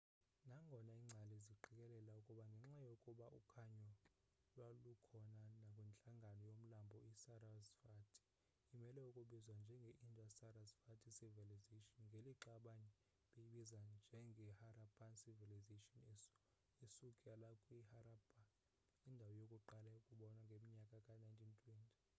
nangona ingcali ziqikelela ukuba ngenxa yokuba ukhanyo lwalukhona nakwintlango yomlambo i sarasvati imele ukubizwa njenge indus-sarasvati civilization ngelixa abanye beyibiza njengeharappan civilization esukela kwiharappa indawo yokuqala ukombiwa ngomnyaka ka-1920